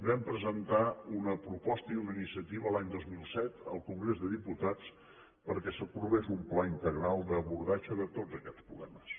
vam presentar una proposta i una iniciativa l’any dos mil set al congrés dels diputats perquè s’aprovés un pla integral d’abordatge de tots aquests problemes